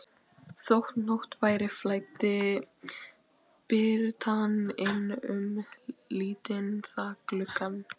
Þótt nótt væri flæddi birtan inn um lítinn þakgluggann.